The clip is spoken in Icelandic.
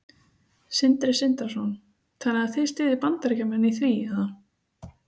Sindri Sindrason: Þannig að þið styðjið Bandaríkjamenn í því eða?